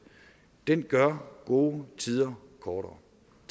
den gør gode tider kortere